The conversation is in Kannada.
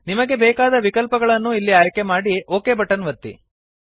ನಿಮಗೆ ಬೇಕಾದ ವಿಕಲ್ಪಗಳನ್ನು ಇಲ್ಲಿ ಆಯ್ಕೆ ಮಾಡಿ ಒಕ್ ಬಟನ್ ಒತ್ತಿ